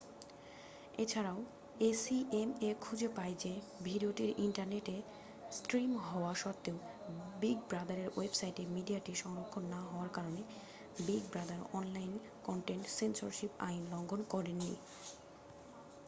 এছাড়াও acma খুঁজে পায় যে ভিডিওটি ইন্টারনেটে স্ট্রিম হওয়া সত্ত্বেও বিগ ব্রাদারের ওয়েবসাইটে মিডিয়াটি সংরক্ষণ না হওয়ার কারণে Big Brother online content censorship আইন লঙ্ঘন করেন নি